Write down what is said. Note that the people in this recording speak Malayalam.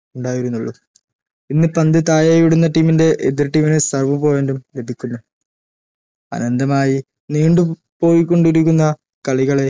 ഉണ്ടായിരുന്നുള്ളൂ പിന്ന പന്ത് താഴെയിടുന്ന team ൻറെ എതിർ team നെ serve point ഉം ലഭിക്കുന്നു അനന്തമായി നീണ്ടും പോയികൊണ്ടിരിക്കുന്ന കളികളെ